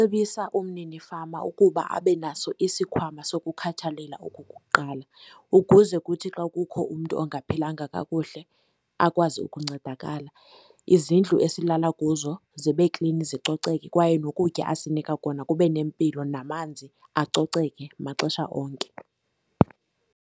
cebisa umnini fama ukuba abe naso isikhwama sokukhathalela okukuqala, ukuze kuthi xa kukho umntu ongaphilanga kakuhle akwazi ukuncedakala. Izindlu esilala kuzo zibe klini, zicoceke, kwaye nokutya asinika kona kube nempilo, namanzi acoceke maxesha onke.